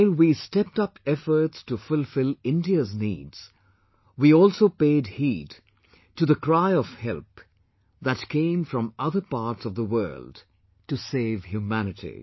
While we stepped up efforts to fulfill India's needs, we also paid heed to the cry of help that came from other parts of the world to save humanity